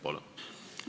Palun!